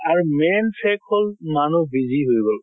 আৰু main fact হল মানুহ busy হৈ গল।